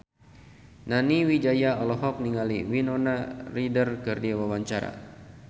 Nani Wijaya olohok ningali Winona Ryder keur diwawancara